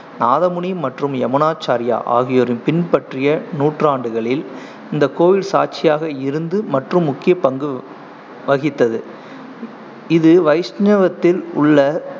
நாதமுனி மற்றும் யமுனாச்சார்யா ஆகியோரின் பின்பற்றிய நூற்றாண்டுகளில் இந்த கோவில் சாட்சியாக இருந்து மற்றும் முக்கிய பங்கு வ~ வகித்தது. இது வைஷ்ணவத்தில் உள்ள